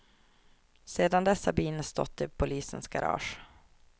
Sedan dess har bilen stått i polisens garage.